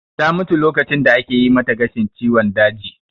Ta mutu lokacin da ake yi mata gashin ciwon daji